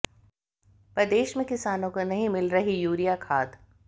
प्रदेश में किसानों को नहीं मिल रही यूरिया खाद